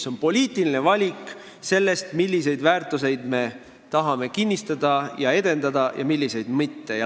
See on poliitiline valik, milliseid väärtusi me tahame kinnistada ja edendada ning milliseid mitte.